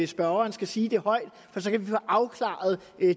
spørgeren skal sige det højt for så kan vi få afklaret